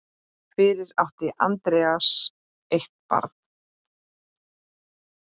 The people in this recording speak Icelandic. Fyrir átti Andreas eitt barn.